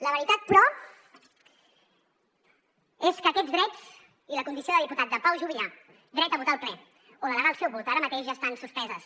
la veritat però és que aquests drets i la condició de diputat de pau juvillà dret a votar al ple o delegar el seu vot ara mateix ja estan suspesos